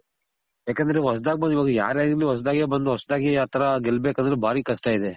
ಯಾಕಂದ್ರೆ ಹೊಸದಾಗಿ ಬಂದ್ ಯಾರೇ ಆದರು ಹೊಸ್ದಾಗೆ ಬಂದ್ ಹೊಸ್ದಾಗೆ ಆ ತರ ಗೆಲ್ ಬೇಕ್ ಅಂದ್ರೆ ಬಾರಿ ಕಷ್ಟ ಇದೆ.